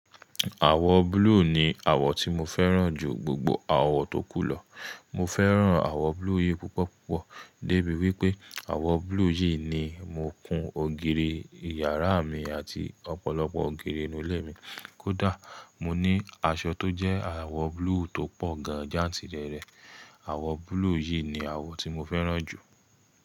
Àwọ̀ blue ni àwọ̀ tí mo fẹ́ràn jù gbogbo àwọ̀ tókù lọ. Mo fẹ́ràn àwọ̀ blue yìí púpọ̀púpọ̀ débi wípé àwọ̀ blue yìí ni mo kun ògiri ìyàrá mi àti ọ̀pọ̀lọpọ̀ ògiri inú ilé mi. Kódà mo ní aṣọ tó jẹ́ àwọ̀ blue tó pọ̀ ganjà jantirere. Àwọ̀ blue yìí ni àwọ̀ tí mo fẹ́ràn jù.